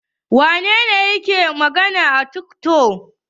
Wane ne yake hawa tiktok?